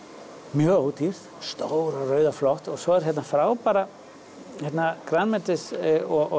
mjög ódýr stór og rauð og flott og svo eru hérna frábærir grænmetis og